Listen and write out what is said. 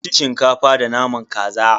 Mun ci Shinkafa da naman kaza.